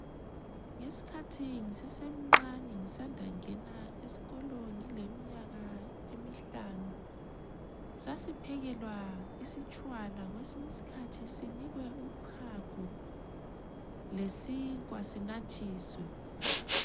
Ngesikhathi ngisasemncane ngisanda kungena esikolo ngileminyaka emihlanu, sasiphekelwa isitshwala kwesinye isikhathi sinikwe uchago lesinkwa sinathiswe.